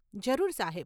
જરૂર, સાહેબ.